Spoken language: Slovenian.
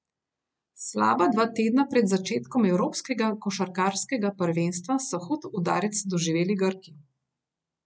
Slaba dva tedna pred začetkom evropskega košarkarskega prvenstva so hud udarec doživeli Grki.